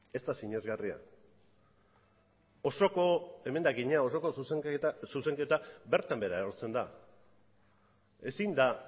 ez da sinesgarria osoko emendakina osoko zuzenketa bertan behera erortzen da ezin da